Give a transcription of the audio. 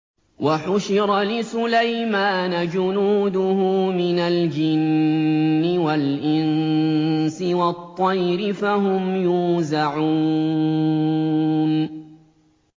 وَحُشِرَ لِسُلَيْمَانَ جُنُودُهُ مِنَ الْجِنِّ وَالْإِنسِ وَالطَّيْرِ فَهُمْ يُوزَعُونَ